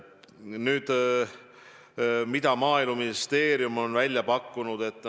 Nüüd, mida Maaeluministeerium on välja pakkunud?